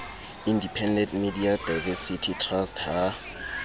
independent media diversity trust ha